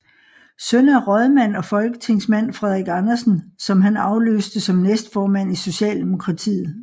Søn af rådmand og folketingsmand Frederik Andersen som han afløste som næstformand i Socialdemokratiet